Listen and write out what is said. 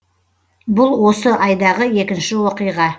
бұл осы айдағы екінші оқиға